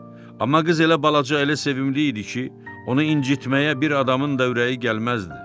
Amma qız elə balaca, elə sevimli idi ki, onu incitməyə bir adamın da ürəyi gəlməzdi.